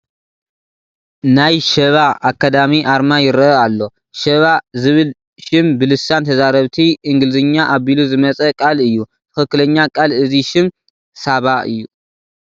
ናይ ሸባ ኣካዳሚ ኣርማ ይርአ ኣሎ፡፡ ሸባ ዝብል ሽም ብልሳን ተዛረብቲ እንግሊዝኛ ኣቢሉ ዝመፀ ቃል እዩ፡፡ ትኽኽለኛ ቃል እዚ ሽም ሳባ እዩ፡፡